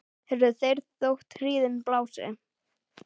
heyrðu þeir þótt hríðin blási